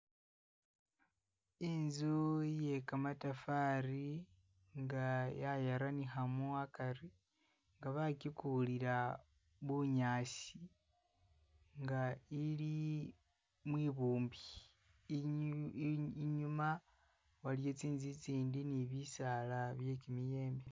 Inzu iye kamatafari nga yayaranihamu akari, nga bakikulira bunyaasi nga ili mwibumbi inyu inyuma waliwo tsinzu itsindi ni bisaala bye kimiyembe